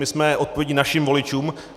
My jsme odpovědní našim voličům.